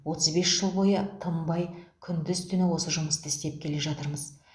отыз бес жыл бойы тынбай күндіз түні осы жұмысты істеп келе жатырмыз